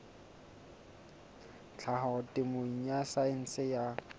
tlhaho temeng ya saense ya